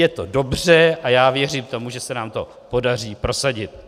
Je to dobře a já věřím tomu, že se nám to podaří prosadit.